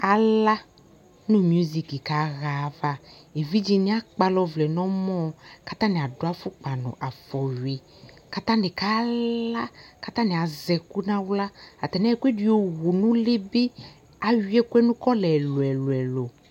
ala no musiki ka ɣa ava evidze ni akpala ɔvlɛ no ɔmɔ ko atani ado afɔkpa no afɔwi ko atani ka la ko atani azɛ ɛko no ala atani ayɔ ɛkoɛdi yowu no ule be awi ɛkoɛ no kɔla ɛlo ɛlo